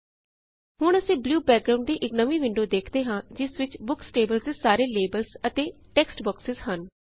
ਹੁਣ ਅਸੀਂ blue background ਦੀ ਇਕ ਨਵੀ ਵਿੰਡੋ ਵੇਖਦੇ ਹਾਂ ਜਿਸ ਵਿੱਚ ਬੁਕਸ ਟੇਬਲ ਦੇ ਸਾਰੇ ਲੇਬਲਸ ਅਤੇ ਟੇਕ੍ਸ੍ਟ ਬੌਕਸਸ੍ ਹਨ